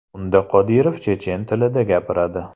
Unda Qodirov chechen tilida gapiradi.